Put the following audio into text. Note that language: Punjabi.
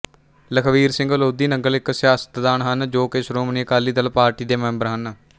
ਲਖਬੀਰ ਸਿੰਘ ਲੋਧੀਨੰਗਲ ਇੱਕ ਸਿਆਸਤਦਾਨ ਹਨ ਜੋ ਕਿ ਸ਼੍ਰੋਮਣੀ ਅਕਾਲੀ ਦਲ ਪਾਰਟੀ ਦੇ ਮੈਂਬਰ ਹਨ